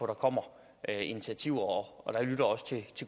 der kommer initiativer og jeg lytter også til